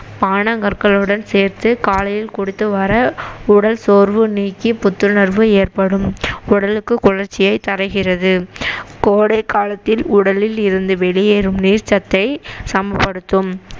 பானகற்களுடன் சேர்த்து காலையில் குடித்துவர உடல் சோர்வு நீக்கி புத்துணர்வு ஏற்படும் உடலுக்கு குளிர்ச்சியை தருகிறது கோடை காலத்தில் உடலில் இருந்து வெளியேறும் நீர்ச்சத்தை சமப்படுத்தும்